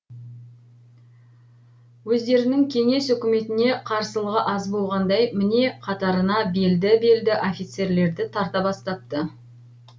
өздерінің кеңес үкіметіне қарсылығы аз болғандай міне қатарына белді белді офицерлерді тарта бастапты